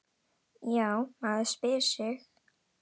Já, maður spyr sig?